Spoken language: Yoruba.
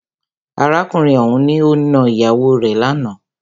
Arákùnrin ọ̀hùn ni o nà ìyàwó rè lánàá.